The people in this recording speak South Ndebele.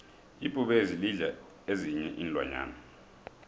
ibhubezi lidla ezinyei iinlwanyana